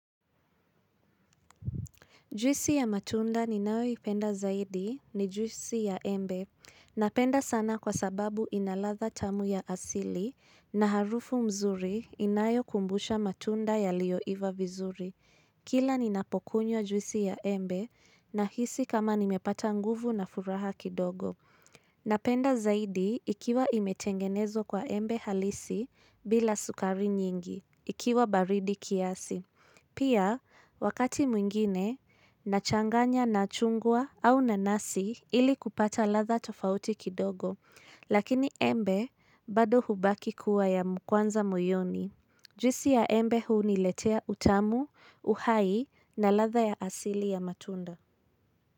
Juisi ya matunda ninayo ipenda zaidi ni juisi ya embe. Napenda sana kwa sababu inaladha tamu ya asili na harufu nzuri inayo kumbusha matunda yaliyoiva vizuri. Kila ninapokunywa juisi ya embe nahisi kama nimepata nguvu na furaha kidogo. Napenda zaidi ikiwa imetengenezwa kwa embe halisi bila sukari nyingi ikiwa baridi kiasi. Pia, wakati mwingine, nachanganya na chungwa au nanasi ili kupata ladha tofauti kidogo, lakini embe bado hubaki kuwa ya kwanza moyoni. Juisi ya embe huniletea utamu, uhai na ladha ya asili ya matunda.